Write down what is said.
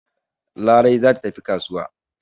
Larai za ta tafi kasuwa.